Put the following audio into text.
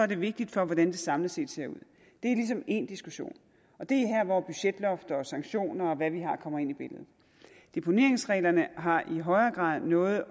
det vigtigt for hvordan det samlet set ser ud det er ligesom en anden diskussion og det er her hvor budgetlofter sanktioner og hvad vi har kommer ind i billedet deponeringsreglerne har i højere grad noget